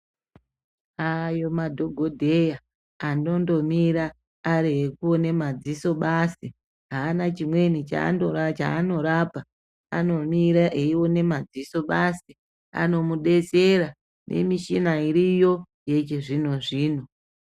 Ayo madhogodheya anondomira ari ekuona madziso basi. Haana chimweni chaanorapa anomira eiona madziso basi anomubetesra nemichina iriyo yechizvino-zvino.